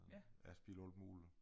Jeg har spillet alt muligt